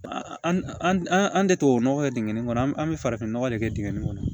An an tɛ tubabunɔgɔ kɛ dingɛ nin kɔnɔ an bɛ farafinnɔgɔ de kɛ dingɛ in kɔnɔ